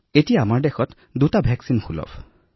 এই সময়ত আমাৰ দেশত দুটা ভেকছিন উপলব্ধ আছে